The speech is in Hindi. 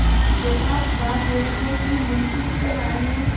यथार्थ बात यह है कि मुंशी सत्यनाराण ने